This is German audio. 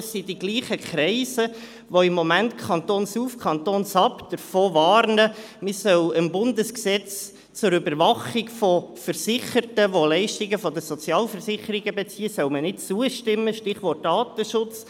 Es sind die gleichen Kreise, die im Moment «kantonsauf, kantonsab» davor warnen, man solle dem Bundesgesetz zur Überwachung von Versicherten, die Leistungen von den Sozialversicherungen beziehen, nicht zustimmen – Stichwort Datenschutz.